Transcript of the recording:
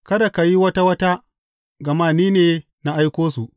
Kada ka yi wata wata, gama ni ne na aiko su.